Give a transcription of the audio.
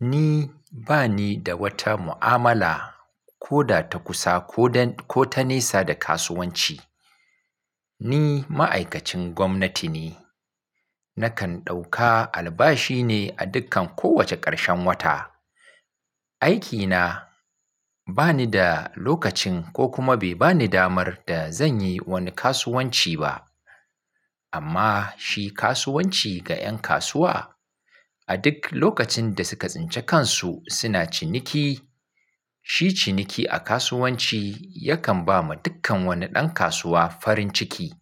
Ni bani da wata mu'amala ko da ta kusa ko ta nesa da kasuwanci. Ni ma'aikacin gwamnati ne. Nakan ɗauka albashi ne a dukkan kowace ƙarshen wata. Aikina bani da lokacin ko kuma bai bani damar da zanyi woni kasuwanci ba. Amma shi kasuwanci ga 'yan kasuwa, a duk lokacin da suka tsince kansu suna ciniki, shi ciniki a kasuwanci yakan ba ma dukkan woni ɗan kasuwa farin ciki.